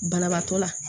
Banabaatɔ la